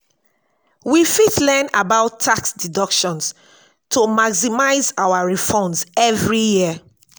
we fit learn about tax deductions to maximize our refunds every year.